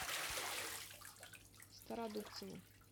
стародубцеву